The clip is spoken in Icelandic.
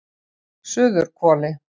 Suðurhvoli